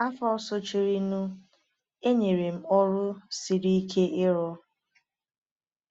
Afọ sochirinụ, e nyere m ọrụ siri ike ịrụ.